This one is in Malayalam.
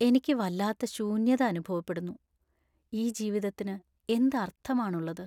എനിക്ക് വല്ലാത്ത ശൂന്യത അനുഭവപ്പെടുന്നു; ഈ ജീവിതത്തിന് എന്ത് അർത്ഥമാണുള്ളത്?